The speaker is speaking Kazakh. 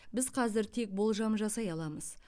біз қазір тек болжам жасай аламыз